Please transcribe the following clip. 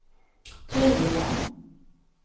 tydligen